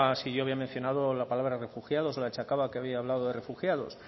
si yo había mencionado la palabra refugiados lo achacaba que había hablado de refugiados